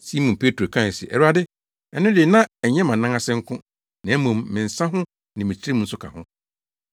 Simon Petro kae se, “Awurade, ɛno de na ɛnyɛ mʼanan ase nko, na mmom me nsa ho ne me tirim nso ka ho.”